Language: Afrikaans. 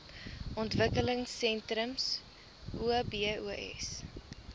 ontwikkelingsentrums obos